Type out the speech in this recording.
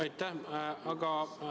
Aitäh!